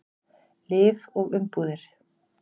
Lyf og umbúðir.